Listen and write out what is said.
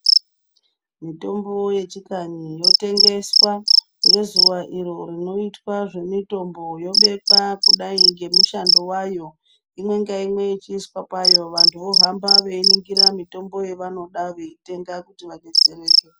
Mitombo yechikanyi yotengeswa ngezuwa iro rinoitwe zvemitombo yobekwa kudai ngemishando yayo imwe ngaimwe yechiiswa payo vanthu vohamba vechiningira mitombo yevanoda veitenga kuti vadetsereke.